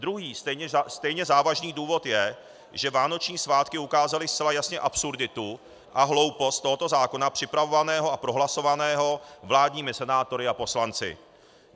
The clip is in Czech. Druhý stejně závažný důvod je, že vánoční svátky ukázaly zcela jasně absurditu a hloupost tohoto zákona, připravovaného a prohlasovaného vládními senátory a poslanci.